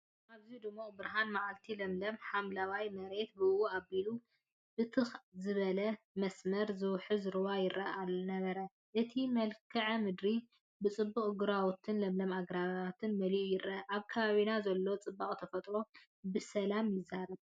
ኣብዚ ድሙቕ ብርሃን መዓልቲ፡ ለምለም ሓምላይ መሬትን ብእኡ ኣቢሉ ብትኽ ዝበለ መስመር ዝውሕዝ ሩባን ይርአ ነበረ። እቲ መልክዓ ምድሪ ብጽቡቕ ግራውትን ለምለም ኣግራብን መሊኡ ይረአ። ኣብ ከባቢና ዘሎ ጽባቐ ተፈጥሮ ብሰላም ይዛረብ።